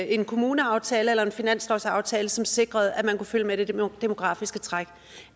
en kommuneaftale eller en finanslovsaftale som sikrede at man kunne følge med det demografiske træk